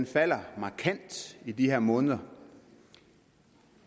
falder markant i de her måneder